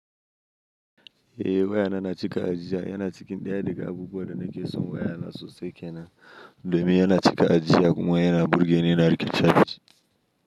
Eh waya na na cika ajijiya, yana ciki ɗaya daga abubuwan da nake so. Waya na sosai kenan. Domin yana cika ajiyya kuma yana burge ni na rike chafis.